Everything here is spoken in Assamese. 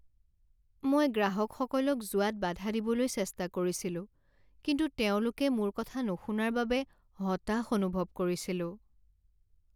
মই গ্ৰাহকসকলক যোৱাত বাধা দিবলৈ চেষ্টা কৰিছিলো কিন্তু তেওঁলোকে মোৰ কথা নুশুনাৰ বাবে হতাশ অনুভৱ কৰিছিলোঁ।